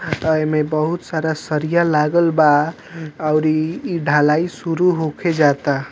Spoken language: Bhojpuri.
आता इ में बहुत सारा सरिया लागल बा और इ इ ढलाई शुरू होखे जाता।